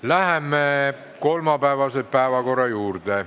Läheme kolmapäevase päevakorra juurde.